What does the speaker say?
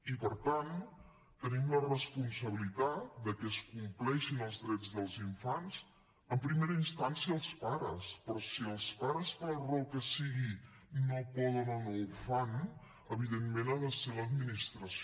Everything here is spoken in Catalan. i per tant tenim la responsabilitat de que es compleixin els drets dels infants en primera instància els pares però si els pares per la raó que sigui no poden o no ho fan evidentment ha de ser l’administració